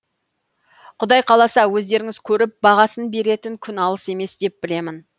құдай қаласа өздеріңіз көріп бағасын беретін күн алыс емес деп білемін